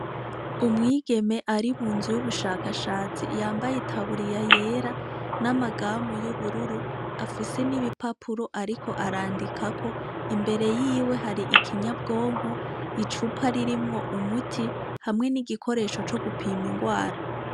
Umwigeme ari mu nzu y'ubushakashatsi yambaye itaburiya yera n'amagamu y'ubururu afise ibipapuro ariko arandikako. Imbere yiwe hari ikinyabwonko, icupa ririmwo umuti hamwe n'igikoresho co gupima ingwara.